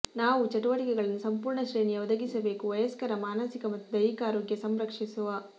ನಾವು ಚಟುವಟಿಕೆಗಳನ್ನು ಸಂಪೂರ್ಣ ಶ್ರೇಣಿಯ ಒದಗಿಸಬೇಕು ವಯಸ್ಕರ ಮಾನಸಿಕ ಮತ್ತು ದೈಹಿಕ ಆರೋಗ್ಯ ಸಂರಕ್ಷಿಸುವ